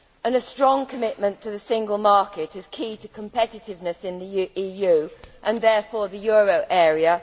A strong commitment to the single market is key to competitiveness in the EU and therefore the euro area.